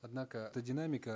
однако эта динамика